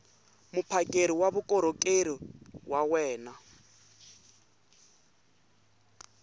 muphakeri wa vukorhokeri wa wena